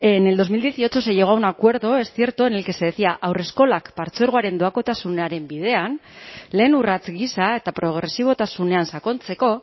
en bi mila hemezortzi se llegó a un acuerdo es cierto en el que se decía haurreskolak partzuergoaren doakotasunaren bidean lehen urrats gisa eta progresibotasunean sakontzeko